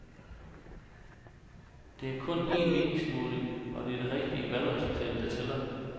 Det er kun en meningsmåling, og det er det rigtige valgresultat, der tæller.